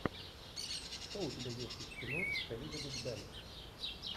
что у тебя есть из кино с элизабет бэнкс